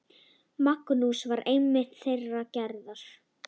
Magnús var einmitt þeirrar gerðar.